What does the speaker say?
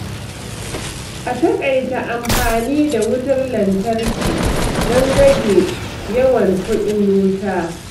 A taƙaita amfani da wutar lantarki don rage yawan kuɗin wuta.